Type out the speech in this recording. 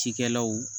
Cikɛlaw